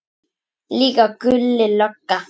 Líka Gulli lögga.